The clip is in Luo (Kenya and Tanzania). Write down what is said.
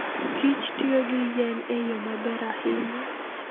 kichtiyo gi yien e yo maber ahinya.